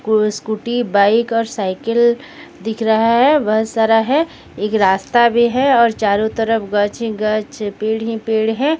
कु scooty bike और cycle दिख रहा है बहुत सारा है एक रास्ता भी है और चारों तरफ गछ ही गछ पेड़ ही पेड़ है।